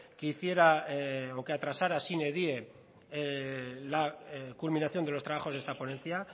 que hiciera o que atrasara sine die la culminación de los trabajos de esta ponencia